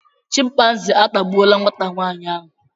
chịmpaizịn atagbuo nwata nwaanyị ahụ